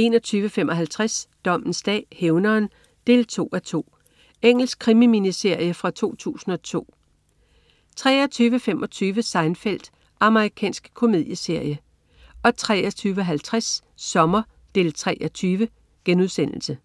21.55 Dommens dag: Hævneren 2:2. Engelsk krimi-miniserie fra 2002 23.25 Seinfeld. Amerikansk komedieserie 23.50 Sommer 3:20*